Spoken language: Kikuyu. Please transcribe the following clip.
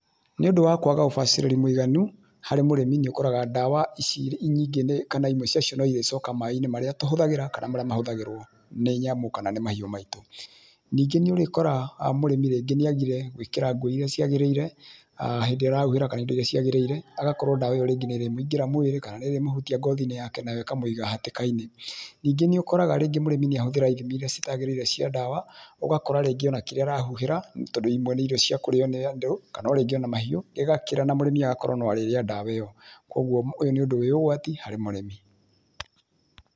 Nĩ ũndũ wa kwaga ũbacĩrĩru mũiganu kũrĩ mũrĩmi nĩũkoraga ndawa ici nyingĩ kana imwe cia cio nĩirĩcoka maaĩinĩ marĩa tũhũthagĩra kana marĩa mahũthagĩrwo nĩ nyamũ kana nĩ mahiũ maitu. Ningĩ nĩũrĩkora mũrĩmi nĩagire gwĩkĩra nguo iria ciagĩrĩire hindĩ ĩrĩa arahuhĩra kana indo iria ciagĩrĩire agakorwo ndawa ĩyo niyamuingĩra mwĩrĩ kana nĩrĩmũhutia ngothinĩ yake nayo ĩkamũiga hatĩkainĩ. Ningĩ nĩũkoraga mũrĩmi nĩahũthĩra ithimi iria itagĩrĩire cia ndawa ũgakora ona hihi kĩrĩa arahũhĩra tondũ imwe nĩ irio cia kũrĩo nĩ andũ kana ona ningĩ mahiũ ĩgakĩra na mũrĩmi agakorwo no arĩrĩa ndawa ĩyo na ĩgakorwo ĩrĩ ũgwati harĩ mũrĩmi.